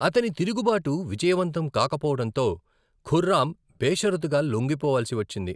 అతని తిరుగుబాటు విజయవంతం కాకపోవడంతో ఖుర్రామ్ బేషరతుగా లొంగిపోవాల్సి వచ్చింది.